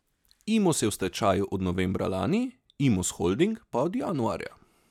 Imos je v stečaju od novembra lani, Imos holding pa od januarja.